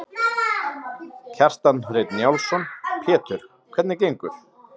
Kjartan Hreinn Njálsson: Pétur, hvernig gengur?